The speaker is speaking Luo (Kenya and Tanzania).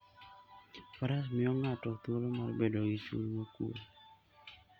Faras miyo ng'ato thuolo mar bedo gi chuny mokuwe.